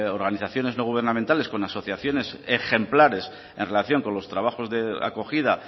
organizaciones no gubernamentales con asociaciones ejemplares en relación con los trabajos de acogida